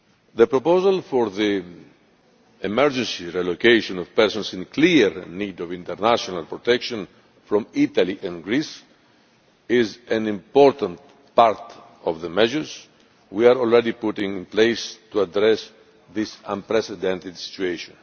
The proposal for the emergency relocation of persons in clear need of international protection from Italy and Greece is an important part of the measures we are already putting in place to address this unprecedented situation.